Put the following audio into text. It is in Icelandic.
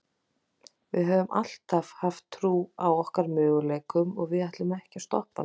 Við höfum alltaf haft trú á okkar möguleikum og við ætlum ekki að stoppa núna.